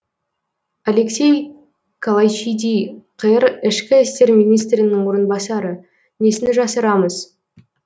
алексей калайчиди қр ішкі істер министрінің орынбасары несін жасырамыз